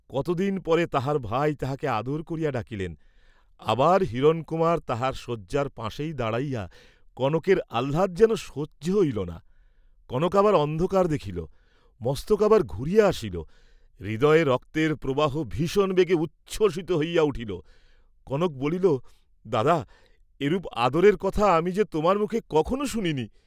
কতদিন পরে তাহার ভাই তাহাকে আদর করিয়া ডাকিলেন, আবার হিরণকুমার তাহার শয্যার পাশেই দাঁড়াইয়া, কনকের আহ্লাদ যেন সহ্য হইল না, কনক আবার অন্ধকার দেখিল, মস্তক আবার ঘুরিয়া আসিল, হৃদয়ে রক্তের প্রবাহ ভীষণ বেগে উচ্ছ্বসিত হইয়া উঠিল, কনক বলিল, দাদা, এরূপ আদরের কথা আমি যে তোমার মুখে কখনো শুনি নি?